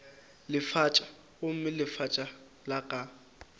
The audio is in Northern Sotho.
lefatša gomme lefatša la ka